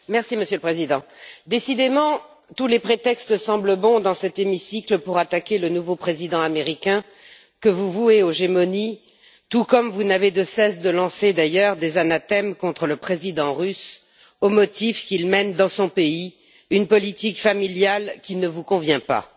Monsieur le Président, décidément tous les prétextes semblent bons dans cet hémicycle pour attaquer le nouveau président américain que vous vouez aux gémonies, tout comme vous n'avez de cesse de lancer d'ailleurs des anathèmes contre le président russe, au motif qu'il mène dans son pays une politique familiale qui ne vous convient pas.